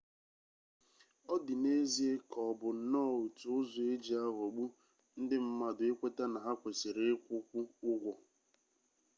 ọ dị n'ezie ka ọ bụ nnọọ otu ụzọ e ji aghọgbu ndị mmadụ ikweta na ha kwesiri ịkwụkwu ụgwọ